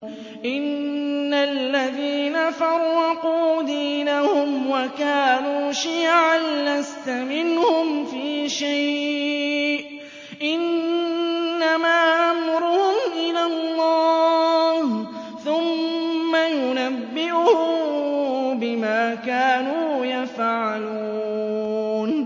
إِنَّ الَّذِينَ فَرَّقُوا دِينَهُمْ وَكَانُوا شِيَعًا لَّسْتَ مِنْهُمْ فِي شَيْءٍ ۚ إِنَّمَا أَمْرُهُمْ إِلَى اللَّهِ ثُمَّ يُنَبِّئُهُم بِمَا كَانُوا يَفْعَلُونَ